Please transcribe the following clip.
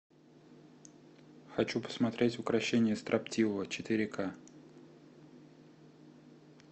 хочу посмотреть укрощение строптивого четыре ка